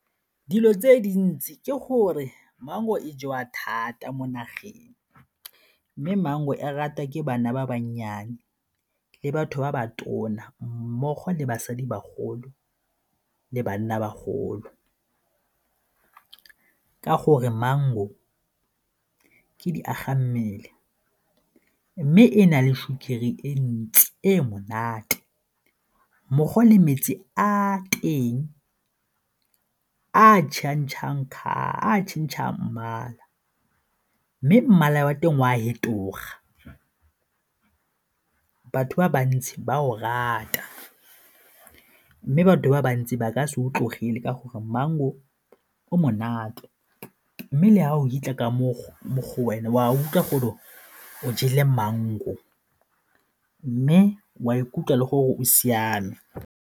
Dilo tse dintsi ke gore mango e jewa thata mo nageng mme mango e rata ke bana ba bannyane le batho ba ba tona mmogo le basadi bagolo le banna bagolo ka gore mango ke diagammele mme e na le sukiri e ntsi e e monate mmogo le metsi a teng a a tšhentšhang mmala mme mmala wa teng o a fetoga. Batho ba bantsi ba o rata mme batho ba bantsi ba ka se o tlogele ka gore mango o monate mme le ga o fitlha ka mo go wena o a utlwa gore o jele mango mme o a ikutlwa le gore o siame.